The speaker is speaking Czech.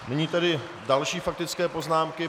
Nyní tedy další faktické poznámky.